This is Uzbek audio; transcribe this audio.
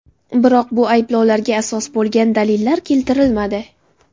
Biroq bu ayblovlarga asos bo‘lgan dalillar keltirilmadi.